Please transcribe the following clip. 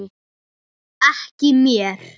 Aðeins eitt stendur eftir.